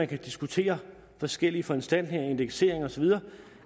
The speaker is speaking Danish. kan diskutere forskellige foranstaltninger indeksering osv